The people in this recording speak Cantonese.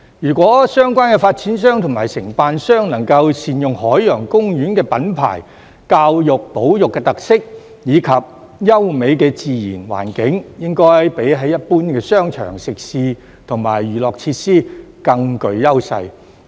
如果相關的發展商及承辦商能夠善用海洋公園的品牌、教育保育的特色，以及優美的自然環境，應該比一般的商場、食肆和娛樂設施更具優勢。